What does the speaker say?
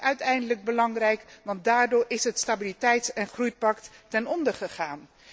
Dat is uiteindelijk belangrijk, want daardoor is het Stabiliteits en groeipact ten onder gegaan.